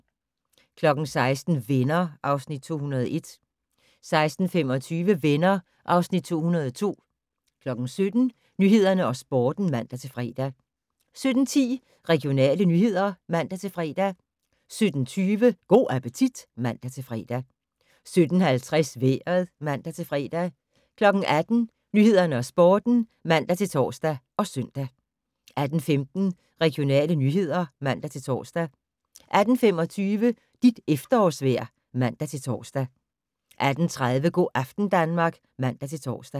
16:00: Venner (Afs. 201) 16:25: Venner (Afs. 202) 17:00: Nyhederne og Sporten (man-fre) 17:10: Regionale nyheder (man-fre) 17:20: Go' appetit (man-fre) 17:50: Vejret (man-fre) 18:00: Nyhederne og Sporten (man-tor og søn) 18:15: Regionale nyheder (man-tor) 18:25: Dit efterårsvejr (man-tor) 18:30: Go' aften Danmark (man-tor)